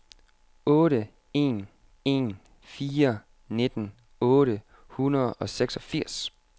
otte en en fire nitten otte hundrede og seksogfirs